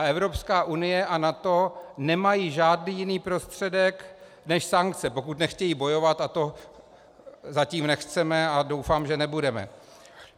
A Evropská unie a NATO nemají žádný jiný prostředek než sankce, pokud nechtějí bojovat, a to zatím nechceme a doufám, že nebudeme.